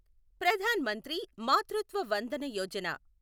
Pradhan Mantri Matritva Vandana Yojana